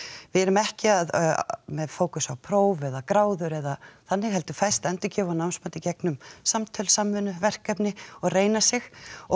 við erum ekki með fókus á próf eða gráður eða þannig heldur fæst endurgjöf og námsmat í gegnum samtöl samvinnu verkefni og reyna sig